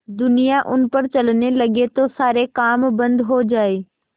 दुनिया उन पर चलने लगे तो सारे काम बन्द हो जाएँ